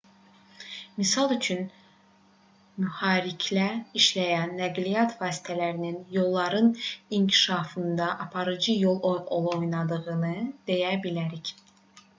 misal üçün mühərriklə işləyən nəqliyyat vasitələrinin yolların inkişafında aparıcı rol oynadığını deyə bilərik